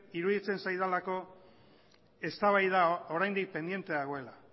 iruditzen zaidalako eztabaida oraindik pendiente dagoela